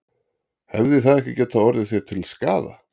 Hefði það ekki getað orðið þér til skaða?